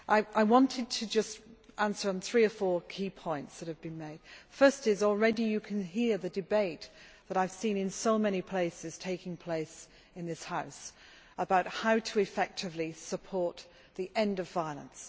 I wanted to answer on three or four key points that have been made. The first is that already you can hear the debate that I have seen in so many places in this House about how to effectively support the end of violence.